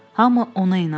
Hamı ona inanır.